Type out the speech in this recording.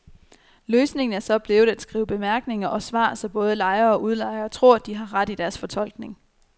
Løsningen er så blevet at skrive bemærkninger og svar, så både lejere og udlejere tror, de har ret i deres fortolkning.